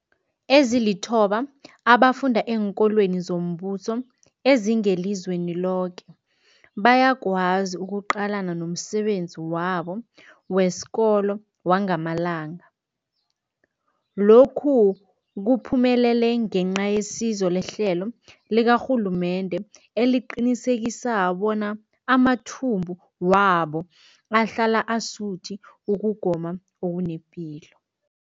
Ezilithoba abafunda eenkolweni zombuso ezingelizweni loke bayakwazi ukuqalana nomsebenzi wabo wesikolo wangamalanga. Lokhu kuphumelele ngenca yesizo lehlelo likarhulumende eliqinisekisa bona amathumbu wabo ahlala asuthi ukugoma okunepilo.